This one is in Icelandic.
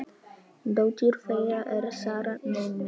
Dóttir þeirra er Sara, nemi.